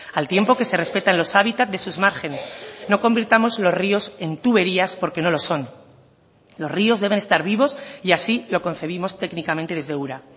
al tiempo que se respetan los hábitat de sus márgenes no convirtamos los ríos en tuberías porque no lo son los ríos deben estar vivos y así lo concebimos técnicamente desde ura